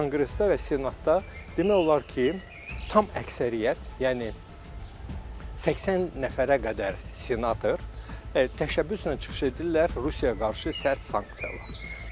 Konqresdə və senatda demək olar ki, tam əksəriyyət, yəni 80 nəfərə qədər senator təşəbbüslə çıxış edirlər Rusiyaya qarşı sərt sanksiyalar.